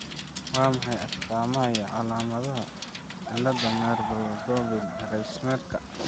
Waa maxay astaamaha iyo calaamadaha cillada Merlob Grunebaum Reisnerka?